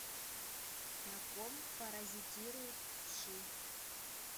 на ком паразитируют вши